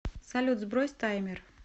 салют сбрось таймер